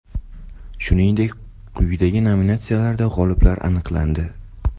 Shuningdek, quyidagi nominatsiyalarda g‘oliblar aniqlandi: !